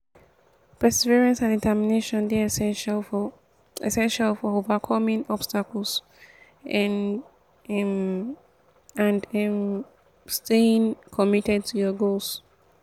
perseverance and determination dey essential for essential for overcoming obstacles um and um staying committed to your goals. um